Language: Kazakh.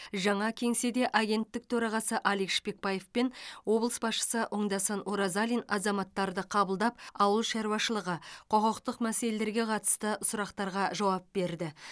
жаңа кеңседе агенттік төрағасы алик шпекбаев пен облыс басшысы оңдасын оразалин азаматтарды қабылдап ауыл шаруашылығы құқықтық мәселелерге қатысты сұрақтарға жауап берді